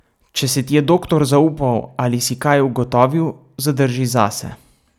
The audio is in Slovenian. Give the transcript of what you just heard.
Če se ti je doktor zaupal ali si kaj ugotovil, zadrži zase.